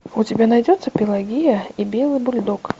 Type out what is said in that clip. у тебя найдется пелагея и белый бульдог